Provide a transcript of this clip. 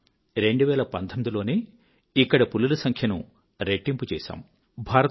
మనము 2019 లోనే ఇక్కడి పులుల సంఖ్యను రెట్టింపు చేశాము